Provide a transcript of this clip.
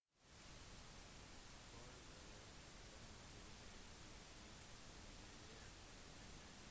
for å komme tilbake til sitt tidligere energinivå må de kvitte seg med den ekstra energien